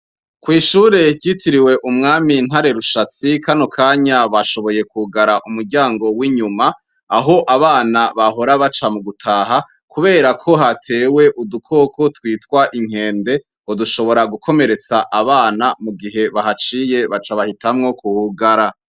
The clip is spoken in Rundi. kw'ishure ryitiriwe umwami ntare rushatsi kano kanya bashoboye kwugara umuryango w'inyuma aho abana bahora baca mu gutaha kuberako hatewe udukoko twitwa inkende ngo dushobora gukomeretsa abana mugihe bahaciye baca bahitamwo kuhugara.